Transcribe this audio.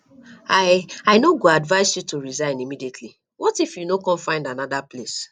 i i no go advise you to go resign immediately what if you no come find another place